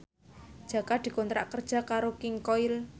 Jaka dikontrak kerja karo King Koil